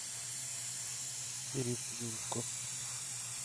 иришке головко